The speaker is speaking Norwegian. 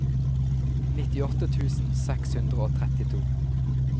nittiåtte tusen seks hundre og trettito